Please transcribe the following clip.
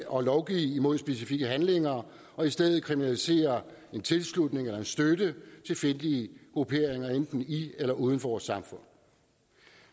og lovgive imod specifikke handlinger og i stedet kriminalisere en tilslutning eller støtte til fjendtlige grupperinger enten i eller uden for vores samfund